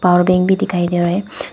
Power bank भी दिखाई दे रहा है।